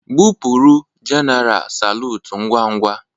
Gbụpụrụ jenaral salutu ngwa ngwa!